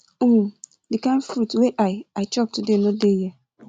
um the kin fruit wey i i chop today no dey here